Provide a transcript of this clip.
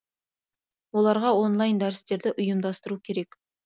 оларға онлайн дәрістерді ұйымдастыру керек